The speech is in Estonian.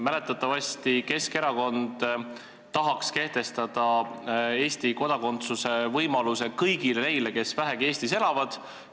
Mäletatavasti Keskerakond tahaks kehtestada Eesti kodakondsuse võimaluse kõigile neile, kes vähegi Eestis elavad.